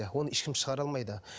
оны ешкім шығара алмайды